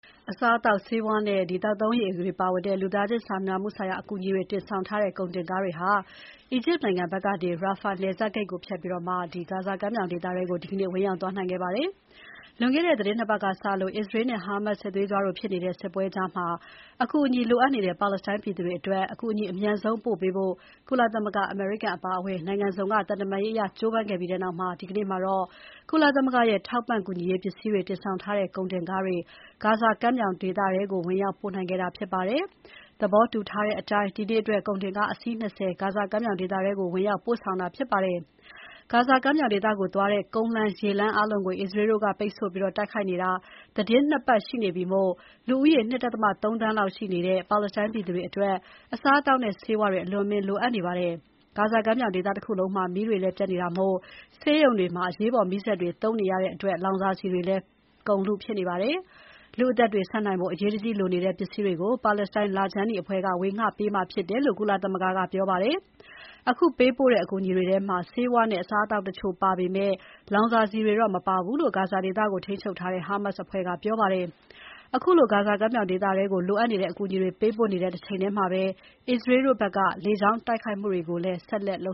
အစားအသောက်၊ ဆေးဝါးနဲ့ သောက်သုံးရေတွေပါတဲ့ လူသားချင်းစာနာမှုဆိုင်ရာ အကူအညီတွေ တင်ဆောင်ထားတဲ့ ကုန်တင်ကားတွေ အီဂျစ်နိုင်ငံဘက်ကနေ Rafah နယ်စပ်ဂိတ်ကိုဖြတ်ပြီး ဂါဇာကမ်းမြောင်ဒေသထဲကို ဒီနေ့ဝင်ရောက်ပို့ဆောင်ခဲ့ပါတယ်။ လွန်ခဲ့တဲ့ သီတင်း ၂ ပတ်ကစလို့ အစ္စရေးနဲ့ Hamas စစ်သွေးကြွတို့ဖြစ်နေကြတဲ့ စစ်ပွဲကြားအကူအညီလိုအပ်နေတဲ့ ပါလက်စတိုင်း ပြည်သူတွေအတွက် အကူအညီအမြန်ဆုံး ပို့ပေးဖို့ကုလမသဂ္ဂ၊ အမေရိကန်အပါအဝင် နိုင်ငံစုံက သံတမန်ရေးအရ ကြိုးပမ်းခဲ့ပြီးနောက် ဒီနေ့မှာတော့ ကုလသမဂ္ဂရဲ့ ထောက်ပံ့ကူညီရေးပစ္စည်းတွေ တင်ဆောင်ထားတဲ့ ကုန်တင်ကားတွေ ဒီနေ့ ဂါဇာကမ်းမြောင်ဒေသထဲကို ဝင်ရောက်ပို့ဆောင်နိုင်ခဲ့တာဖြစ်ပါတယ်။ သဘောတူထားတဲ့အတိုင်း ဒီနေ့အတွက် ကုန်တင်ကား အစီး ၂၀ ဂါဇာကမ်းမြောင်ဒေသထဲကို ဝင်ရောက်ပို့ဆောင်တာဖြစ်ပါတယ်။ ဂါဇာကမ်းမြောင်ဒေသကိုသွားတဲ့ ကုန်းလမ်း၊ ရေလမ်းအားလုံးကို အစ္စရေးတို့ ပိတ်ဆို့ထားပြီး တိုက်ခိုက်နေတာ သီတင်း ၂ ပတ်ရှိနေပြီမို့ လူဦးရေ ၂.၃ သန်းလောက် ရှိတဲ့ ပါလက်စတိုင်းပြည်သူတွေအတွက် အစားအသောက်နဲ့ ဆေးဝါးတွေ အလွန်အမင်းလိုအပ်နေပါတယ်။ ဂါဇာကမ်းမြောင်ဒေသတခုလုံးမှာလည်း မီးတွေပျက်နေတာမို့ ဆေးရုံတွေမှာ အရေးပေါ် မီးစက်တွေ သုံးနေရတဲ့အတွက် လောင်စာဆီတွေလဲ ကုန်လုဖြစ်နေပါတယ်။ လူ့အသက်တွေဆက်နိုင်ဖို့ အရေးတကြီးလိုနေတဲ့ ပစ္စည်းတွေကိုပါလက်စတိုင်းလခြမ်းနီအဖွဲ့က ဝေငှပေးမှာဖြစ်တယ်လို့ ကုလသမဂ္ဂကပြောပါတယ်။ အခုပေးပို့တဲ့ အကူအညီတွေထဲမှာ ဆေးဝါးတွေနဲ့ အစားအသောက် တချို့ပါပေမဲ့ လောင်စာဆီတွေ တော့မပါဘူးလို့ ဂါဇာဒေသကိုထိန်းချုပ်ထားတဲ့ Hamas အဖွဲ့ကပြောပါတယ်။ အခုလိုဂါဇာကမ်း မြောင်ဒေသထဲကို လိုအပ်နေတဲ့ အကူအညီတွေ ပေးပို့နေတဲ့တချိန်ထဲမှာ အစ္စရေးတို့ဘက်က လေကြောင်းတိုက်ခိုက်မှုတွေကို ဆက်လက် လ